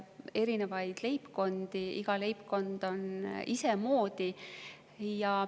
On erinevaid leibkondi, iga leibkond isemoodi.